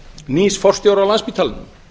nýs forstjóra á landspítalanum